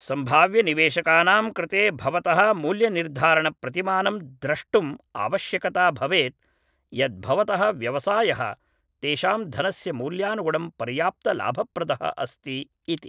सम्भाव्यनिवेशकानां कृते भवतः मूल्यनिर्धारणप्रतिमानं द्रष्टुं आवश्यकता भवेद् यद् भवतः व्यवसायः तेषां धनस्य मूल्यानुगुणं पर्याप्तलाभप्रदः अस्ति इति।